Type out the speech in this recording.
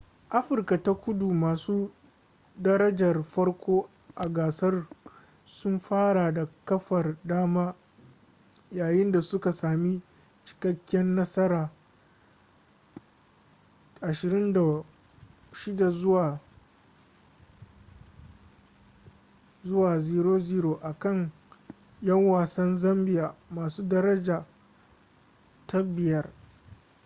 afirka ta kudu masu darajar farko a gasar sun fara da kafar dama yayin da suka sami cikakkiyar nasara 26 - 00 akan 'yan wasan zambia masu daraja ta 5